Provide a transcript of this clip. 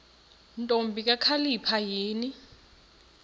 ntombi kakhalipha yini